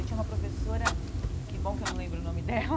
Eu tinha uma professora, que bom que eu não lembro o nome dela,